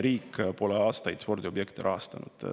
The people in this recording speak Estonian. Riik pole aastaid spordiobjekte rahastanud.